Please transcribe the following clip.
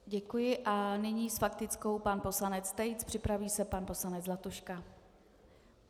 Děkuji a nyní s faktickou pan poslanec Tejc, připraví se pan poslanec Zlatuška.